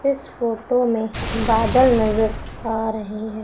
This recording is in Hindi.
इस फोटो में बादल नज़र आ रहे हैं।